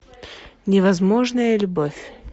невозможная любовь